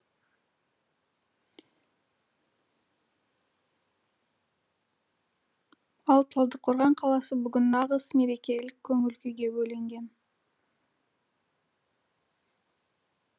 ал талдықорған қаласы бүгін нағыз мерекелік көңіл күйге бөленген